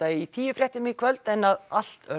í tíu fréttum en að allt